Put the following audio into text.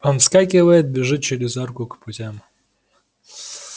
он вскакивает бежит через арку к путям